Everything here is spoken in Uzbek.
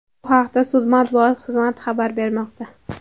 Bu haqda sud matbuot xizmati xabar bermoqda.